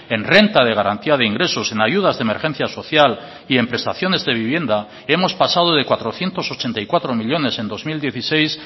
en renta de garantía de ingresos en ayudas de emergencia social y en prestaciones de vivienda hemos pasado de cuatrocientos ochenta y cuatro millónes en dos mil dieciséis